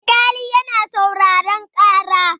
Alkali na sauraren ƙara.